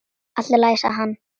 Allt í lagi, sagði hann.